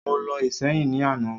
Mo lọ Ìséyìn ní àná